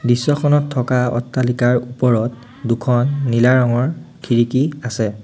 দৃশ্যখনত থকা অট্টালিকাৰ ওপৰত দুখন নীলা ৰঙৰ খিৰিকী আছে।